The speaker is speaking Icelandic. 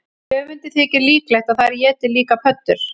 Höfundi þykir líklegt að þær éti líka pöddur.